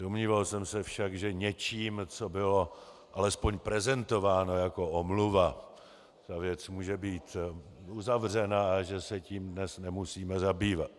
Domníval jsem se však, že něčím, co bylo alespoň prezentováno jako omluva, tato věc může být uzavřena a že se tím dnes nemusíme zabývat.